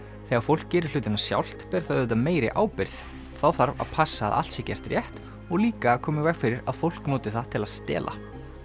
þegar fólk gerir hlutina sjálft ber það auðvitað meiri ábyrgð þá þarf að passa að allt sé gert rétt og líka að koma í veg fyrir að fólk noti það til að stela